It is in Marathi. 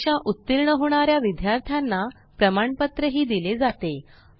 परीक्षा उत्तीर्ण होणाऱ्या विद्यार्थ्यांना प्रमाणपत्र दिले जाते